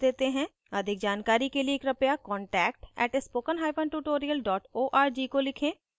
अधिक जानकारी के लिए कृपया contact @spokentutorial org को लिखें